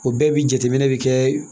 O bɛɛ bi jateminɛ kɛ